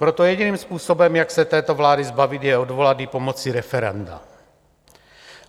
Proto jediným způsobem, jak se této vlády zbavit, je odvolat ji pomocí referenda.